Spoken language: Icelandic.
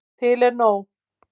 Til er nóg.